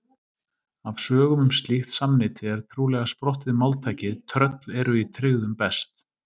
Af sögum um slíkt samneyti er trúlega sprottið máltækið tröll eru í tryggðum best.